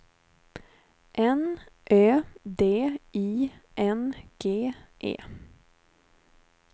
N Ö D I N G E